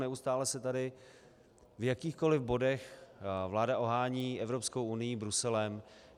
Neustále se tady v jakýchkoli bodech vláda ohání Evropskou unií, Bruselem.